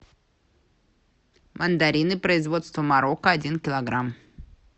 мандарины производства марокко один килограмм